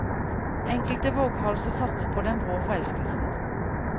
Enkelte våghalser satser på den brå forelskelsen.